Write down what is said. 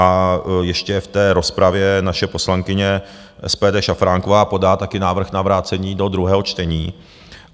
A ještě v té rozpravě naše poslankyně SPD Šafránková podá také návrh na vrácení do druhého čtení.